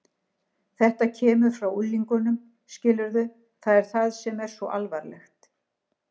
Þetta kemur frá unglingunum, skilurðu, það er það sem er svo alvarlegt.